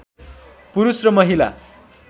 पुरुष र महिला